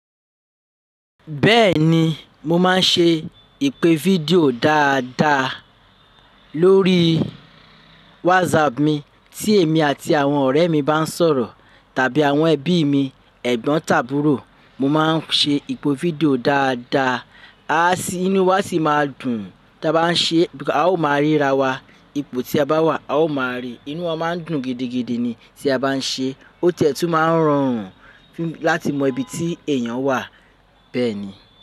Bẹ́ẹ̀ni, mo máa ń ṣe ìpè fídíò dáadáa lórí WhatsApp mi tí èmi àti àwọn ọ̀rẹ́ mi bá ń sọ̀rọ̀ tàbí àwọn ẹbí mi ẹ̀gbọ́n tàbúrò, mo máa ń ṣe ìpè fídíò dáadáa. Ah, a sì inú wa a sì máa dùn tí a bá ń ṣe because à ó máa ríra wa, ipò tí a bá wà a ó máa ríi, inú wọn máa ń dùn gidigidi ni tí a bá ń ṣe. Ó tiẹ́tú máa ń rọrùn láti mọ ibi tí èèyàn wà bẹ́ẹ̀ ni.